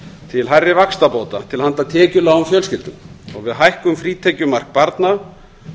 til hærri vaxtabóta til handa tekjulágum fjölskyldum og við hækkun frítekjumark barna